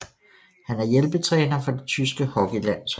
Han er hjælpetræner for det tyske hockeylandshold